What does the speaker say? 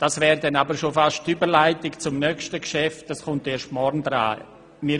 Dies wäre schon fast die Überleitung zum nächsten Geschäft, welches erst morgen an die Reihe kommt.